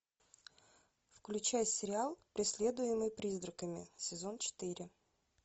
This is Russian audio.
включай сериал преследуемый призраками сезон четыре